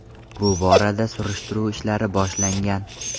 Bu borada surishtiruv ishlari boshlangan.